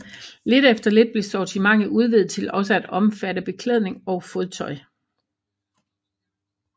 Lidt efter lidt blev sortimentet udvidet til også at omfatte beklædning og fodtøj